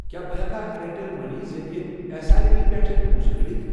کیٛاہ بہٕ ہٮ۪کا اِیَرٹیٚل مٔنی ذٔریعہٕ ایس آٮٔی پی پٮ۪ٹھ پۄنٛسہٕ کٔڑِتھ؟